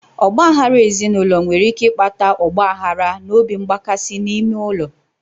Ọgba aghara ezinụlọ nwere ike ịkpata ọgba aghara na obi mgbakasị n'ime ụlọ